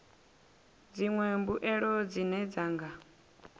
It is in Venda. dziṅwe mbuelo dzine dza nga